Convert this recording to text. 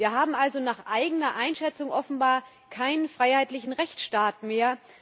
Wir haben also nach eigener Einschätzung offenbar keinen freiheitlichen Rechtsstaat mehr.